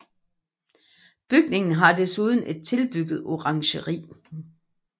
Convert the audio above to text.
Bygningen har desuden et tilbygget orangeri